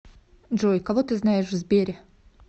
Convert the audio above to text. джой кого ты знаешь в сбере